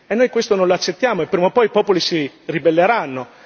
Noi questo non lo accettiamo e prima o poi i popoli si ribelleranno.